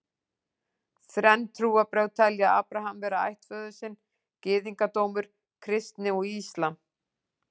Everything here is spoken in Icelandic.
Þrenn trúarbrögð telja Abraham vera ættföður sinn: gyðingdómur, kristni og íslam.